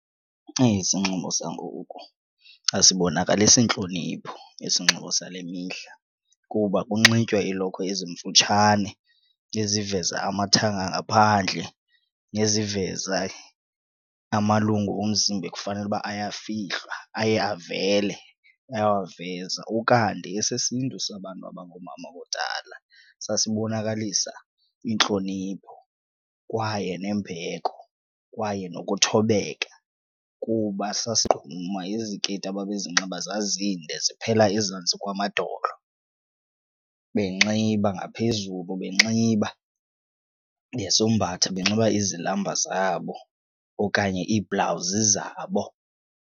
Eyi, isinxibo sangoku asibonakalisi ntlonipho isinxibo sale mihla kuba kunxitywa iilokhwe ezimfutshane eziveza amathanga ngaphandle neziveza amalungu omzimba ekufanele uba ayafihlwa aye avele, bayawaveza. Ukanti esesiNtu sabantu abangoomama kudala sasibonakalisa intlonipho kwaye nembeko kwaye nokuthobeka kuba sasigquma, iziketi ababezinxiba zazintle ziphela ezantsi kwamadolo benxiba ngaphezulu, benxiba besombatha benxiba izilamba zabo okanye iibhlawuzi zabo.